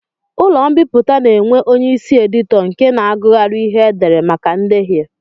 Ụlọ mbipụta na-enwe onyeisi editọ nke na-agụgharị ihe e dere maka ndehie